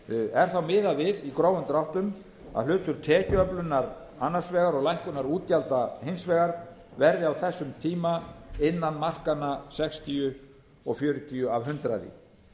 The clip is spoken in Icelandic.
er þá miðað við í grófum dráttum að hlutur tekjuöflunar annars vegar og lækkunar útgjalda hins vegar verði á þessum tíma innan markanna sextíu og fjörutíu af hundraði